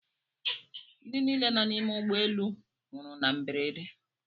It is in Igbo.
Ndị niile nọ n’ime ụgbọ elu nwụrụ na mberede